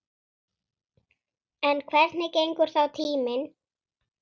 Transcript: En hvernig gengur þá tíminn?